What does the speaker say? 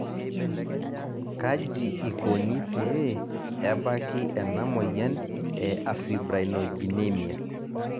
Kaji ikoni pee ebaki ena moyian e afibrinogenemia?